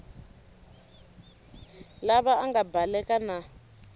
lava a nga baleka na